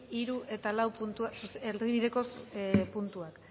hiru eta lau erdibideko puntuak